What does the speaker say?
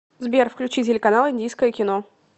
сбер включи телеканал индийское кино